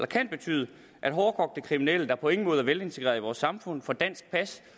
kan betyde at hårdkogte kriminelle der på ingen måde er velintegrerede i vores samfund får dansk pas